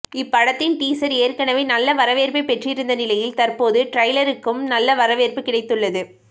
இப்படத்தின் டீசர் ஏற்கனவே நல்ல வரவேற்பை பெற்றிருந்த நிலையில் தற்போது ட்ரெய்லருக்கும் நல்ல வரவேற்பு கிடைத்துள்ளது